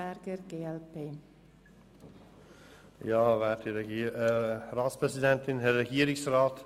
Sie haben wirklich lange genug gesprochen.